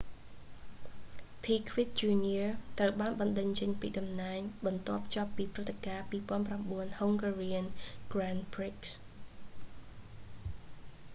piquet jr ត្រូវបានបណ្តេញចេញពីតំណែងបន្ទាប់ចប់ពីព្រឹត្តិការណ៍ 2009 hungarian grand prix